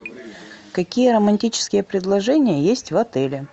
какие романтические предложения есть в отеле